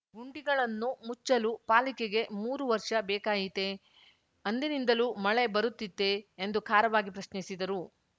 ಗುಂಡಿಗಳನ್ನು ಮುಚ್ಚಲು ಪಾಲಿಕೆಗೆ ಮೂರು ವರ್ಷ ಬೇಕಾಯಿತೆಯೇ ಅಂದಿನಿಂದಲೂ ಮಳೆ ಬರುತ್ತಿತ್ತೇ ಎಂದು ಖಾರವಾಗಿ ಪ್ರಶ್ನಿಸಿದರು